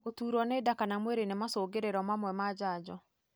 Gũturwo nĩ nda kana mwĩrĩ ni macungĩrĩro mamwe ma janjo.